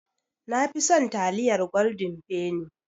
Nafi son taliyar Golden penny